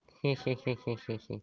хи-хи